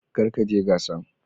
Kar ka je gasan.